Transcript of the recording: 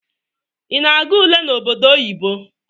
Ị na-aga ule n'obodo oyibo?